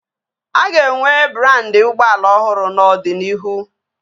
A ka ga-enwe brandị ụgbọala ọhụrụ n'ọdịnihu